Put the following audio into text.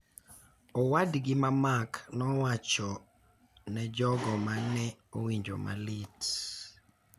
owadgi ma Mark nowacho ne jogo ma ne owinjo malit.